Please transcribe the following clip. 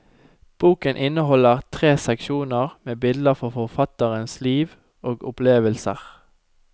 Boken inneholder tre seksjoner med bilder fra forfatterens liv og opplevelser.